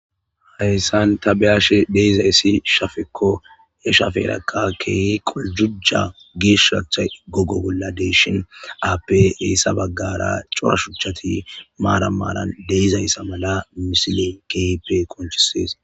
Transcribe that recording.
hayssan ta beyashe deizayssi shafekko e shafeerakka ke qoljuja giish shacha gogo bolla deeshin aappe reessa baggara corashuchchati maara maaran deizayssa mala misilen keipe konchisees